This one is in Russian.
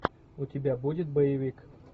у тебя будет боевик